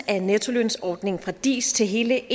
af nettolønsordningen fra dis til hele